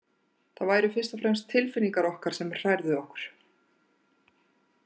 Það væru fyrst og fremst tilfinningar okkar sem hrærðu okkur.